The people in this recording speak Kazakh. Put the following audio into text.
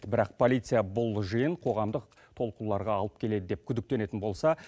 бірақ полиция бұл жиын қоғамдық толқуларға алып келеді деп күдіктенетін болса